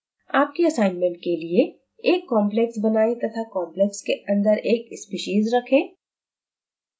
आपके असाइनमेंट के लिए: एक complex बनाएँ तथा complexके अंदर एक species रखें